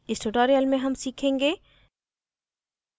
इस tutorial में हम सीखेंगे